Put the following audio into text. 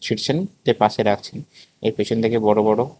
ঠিকছেন দিয়ে পাশে রাখছেন এর পিছন দিকে বড় বড়--